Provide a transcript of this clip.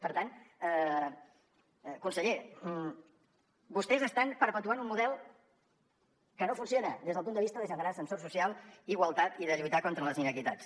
per tant conseller vostès estan perpetuant un model que no funciona des del punt de vista de generar ascensor social igualtat i de lluitar contra les inequitats